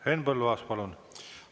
Henn Põlluaas, palun!